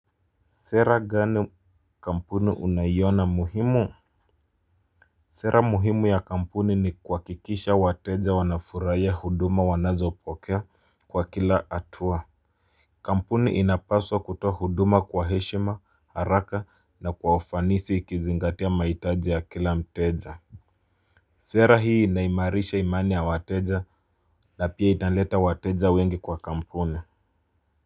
Sera gani kampuni unayiona muhimu? Sera muhimu ya kampuni ni kuhakikisha wateja wanafurahia huduma wanazopokea kwa kila hatua. Kampuni inapaswa kutoa huduma kwa heshima haraka na kwaufanisi ikizingatia mahitaji ya kila mteja. Sera hii inaimarisha imani ya wateja na pia italeta wateja wengi kwa kampuni. Kwa hivyo.